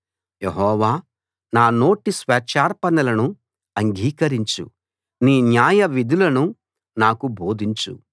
యెహోవా నా నోటి స్వేచ్ఛార్పణలను అంగీకరించు నీ న్యాయవిధులను నాకు బోధించు